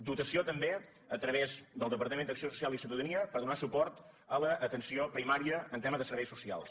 dotació també a través del departament d’acció social i ciutadania per donar suport a l’atenció primària en tema de serveis socials